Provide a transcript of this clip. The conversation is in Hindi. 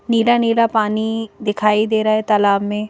नीला-नीला पानी दिखाई दे रहा है तालाब में।